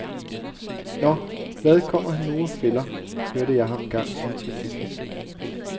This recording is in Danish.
Nå, hvad kommer han nu og fælder, hørte jeg ham engang sige til en bekendt.